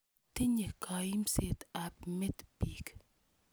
Tinye kaimset ap met piik